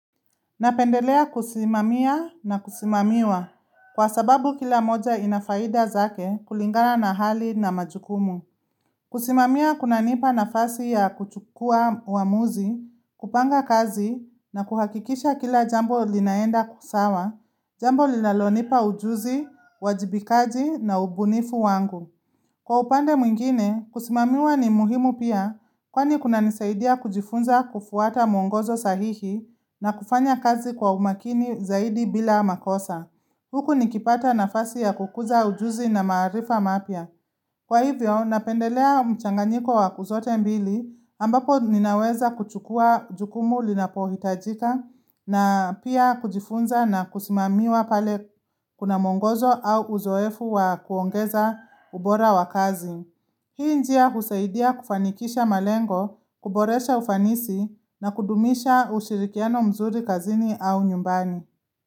Napendelea kusimamia na kusimamiwa kwa sababu kila moja ina faida zake kulingalana na hali na majukumu. Kusimamia kunanipa nafasi ya kuchukua uamuzi, kupanga kazi na kuhakikisha kila jambo linaenda kusawa, jambo linalonipa ujuzi, uwajibikaji na ubunifu wangu. Kwa upande mwingine, kusimamiwa ni muhimu pia kwani kuna nisaidia kujifunza kufuata mwongozo sahihi na kufanya kazi kwa umakini zaidi bila makosa. Huku nikipata nafasi ya kukuza ujuzi na maarifa mapia. Kwa hivyo, napendelea mchanganiko wa kuzote mbili ambapo ninaweza kuchukua jukumu linapohitajika na pia kujifunza na kusimamiwa pale kuna mwongozo au uzoefu wa kuongeza ubora wa kazi. Hii njia husaidia kufanikisha malengo, kuboresha ufanisi na kudumisha ushirikiano mzuri kazini au nyumbani.